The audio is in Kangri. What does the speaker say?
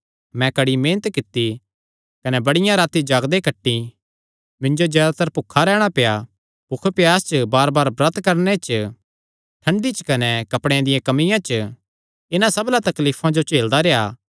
मैं कड़ी मेहनत कित्ती कने बड़ियां रातीं जागदे कटीं मिन्जो जयादातर भुखा रैहणा पेआ भुख प्यास च बारबार ब्रत करणे च ठंडी च कने कपड़ेयां दिया कमिया च इन्हां सबना तकलीफां जो झेलदा रेह्आ